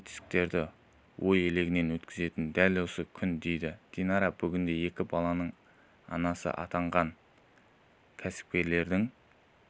жетістіктерді ой елегінен өткізетін дәл осы күн дейді динара бүгінде екі баланың анасы атанған кәсіпкердің